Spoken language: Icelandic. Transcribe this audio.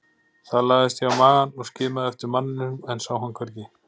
Þar lagðist ég á magann og skimaði eftir manninum en sá hann hvergi.